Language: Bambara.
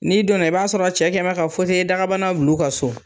N'i donna i b'a sɔrɔ cɛ kɛ bɛ ka dagabana bil'u ka so.